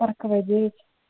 парковая девять